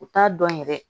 U t'a dɔn yɛrɛ